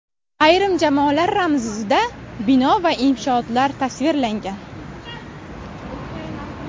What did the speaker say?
Ayrim jamoalar ramzida bino va inshootlar tasvirlangan.